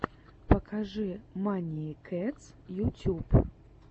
покажи маниии кэтс ютюб